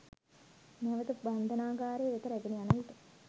නැවත බන්ධනාගාරය වෙත රැගෙන යන විට